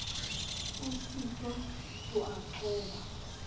o sitwang ho a qoba